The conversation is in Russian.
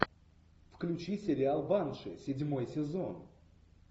включи сериал банши седьмой сезон